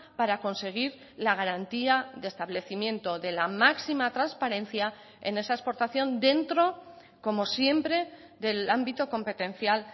para conseguir la garantía de establecimiento de la máxima transparencia en esa exportación dentro como siempre del ámbito competencial